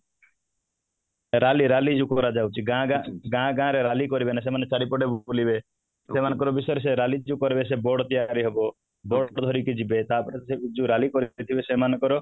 rally rally ଯୋଉ କରାଯାଉଛି ଗାଁ ଗାଁ ରେ rally କରିବେନି ସେମାନେ ଚାରିପଟେ ବୁଲିବେ ସେମାଙ୍କ ବିସଏର rally ଯୋଉ କରିବେ ସେ board ତିଆରି ହବ board ଧରିକି ଯିବେ ତାପରେ ଯୋଉ rally କରିଥିଲେ ସେମାନଙ୍କର